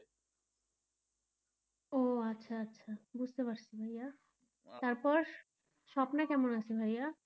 ও আচ্ছা আচ্ছা বুঝতে পারছি ভাইয়া তারপর স্বপ্না কেমন আছে ভাইয়া?